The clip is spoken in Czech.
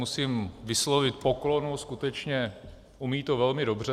Musím vyslovit poklonu, skutečně to umí velmi dobře.